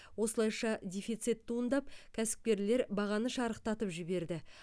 осылайша дефицит туындап кәсіпкерлер бағаны шарықтатып жіберді